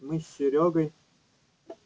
мы с серёгой